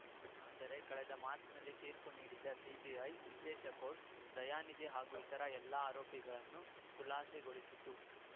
ಆದರೆ ಕಳೆದ ಮಾರ್ಚ್ನಲ್ಲಿ ತೀರ್ಪು ನೀಡಿದ್ದ ಸಿಬಿಐ ವಿಶೇಷ ಕೋರ್ಟ್‌ ದಯಾನಿಧಿ ಹಾಗೂ ಇತರ ಎಲ್ಲ ಆರೋಪಿಗಳನ್ನು ಖುಲಾಸೆಗೊಳಿಸಿತ್ತು